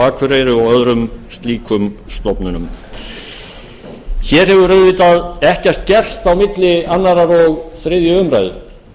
akureyri og öðrum slíkum stofnunum hér hefur auðvitað ekkert gerst á milli annars og þriðju umræðu